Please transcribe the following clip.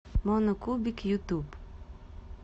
моно кубик ютуб